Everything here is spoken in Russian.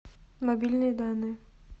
мобильные данные